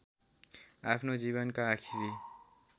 आफ्नो जीवनका आखिरी